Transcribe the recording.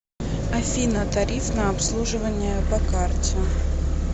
афина тариф на обслуживание по карте